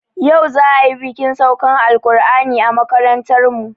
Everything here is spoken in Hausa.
Yau za ayi bikin saukan alƙur'ani a makarantarmu